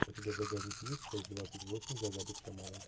у тебя в загашнике есть часть двадцать восемь загадок шамана